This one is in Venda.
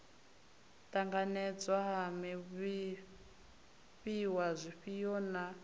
ṱanganedzwa ha zwifhiwa zwifhio na